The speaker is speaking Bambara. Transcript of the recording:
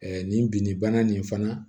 nin binni bana nin fana